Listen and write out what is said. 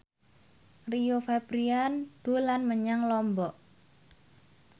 Rio Febrian dolan menyang Lombok